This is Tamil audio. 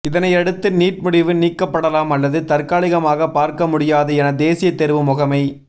இதனையடுத்து நீட் முடிவு நீக்கப்படலாம் அல்லது தற்காலிகமாக பார்க்க முடியாது என தேசிய தேர்வு முகமை